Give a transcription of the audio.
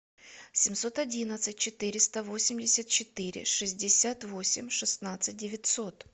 семьсот одиннадцать четыреста восемьдесят четыре шестьдесят восемь шестнадцать девятьсот